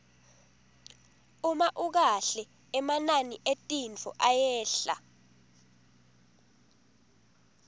uma ukahle emanani etintfo ayehla